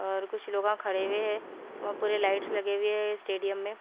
और कुछ लोगा खड़े हुए हैं व पूरे लाइट्स लगे हुए है स्टेडियम में--